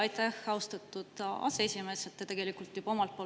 Aitäh, austatud aseesimees!